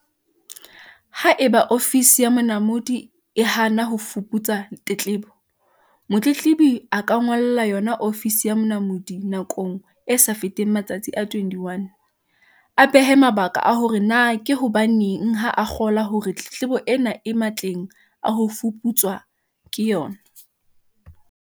Haeba Ofisi ya Monamodi e hana ho fuputsa tletlebo, motletlebi a ka ngolla yona Ofisi ya Monamodi nakong e sa feteng matsatsi a 21, a behe mabaka a hore na ke hobaneng ha a kgolwa hore tletlebo ena e matleng a ho fuputswa ke yona.